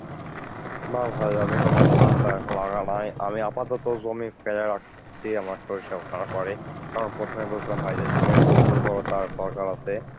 না ভাই আমি এখনো শাক টাগ লাগায় নাই আপাতত জমি ফেলে রাখছি আমার সরিষা উঠানোর পরে কারণ প্রথমে বলেছিলাম ভাই যে জমির একটা উর্বরতার দরকার আছে